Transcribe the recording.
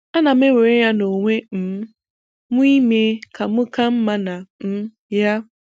Ana m ewere ya n'onwe um m ime ka m ka mma na um ya.